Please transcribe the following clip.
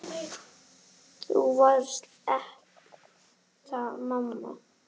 Þú varst ekta amma.